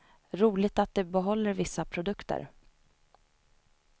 Roligt att de behåller vissa produkter.